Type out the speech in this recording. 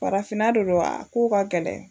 Farafinna de don a kow ka gɛlɛ